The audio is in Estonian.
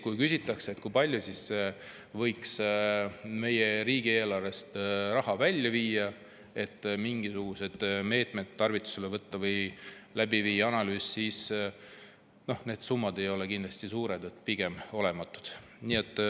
Kui küsitakse, kui palju see võiks meie riigieelarvest raha välja viia, et mingisugused meetmed võtta või viia läbi analüüs, siis need summad ei ole kindlasti suured, pigem olematud.